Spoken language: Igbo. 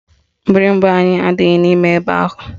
Mgbịrịgba anyị adịghị n'ime ebe ahụ